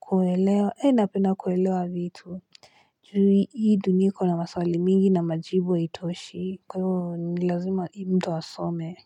kuelewa napenda kuelewa vitu juu hii dunia iko na maswali mingi na majibu haitoshi kwa hivyo nilazima mtu asome.